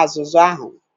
azụzụ ahu